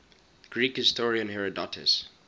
greek historian herodotus